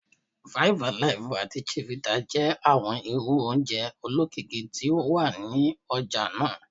Five Alive ati Chivita jẹ awọn irú oje olokiki ti o wa ni ọja naa